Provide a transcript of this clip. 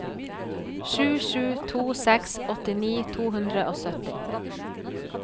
sju sju to seks åttini to hundre og sytti